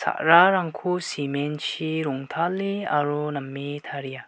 sa·rarangko cement-chi rongtale aro name taria.